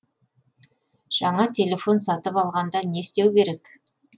жаңа телефон сатып алғанда не істеу керек